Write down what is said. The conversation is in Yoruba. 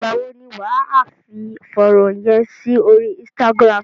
Ìgbà wo ni wà á fi fọ́nrán yẹn sí orí Instagram?